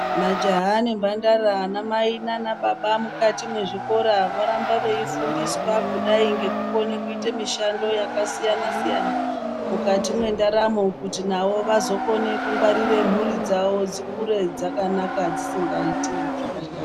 Majaha nemhandara ana mai nanababa mukati mwezvikora voramba veifundiswa kudai ngekukone kuita mushando yakasiyana siyana mukati ,mwendaramo kuti navo vazokone kungwarira mhuri dzawo dzikure dzakanaka dzisingaiti zvakashata.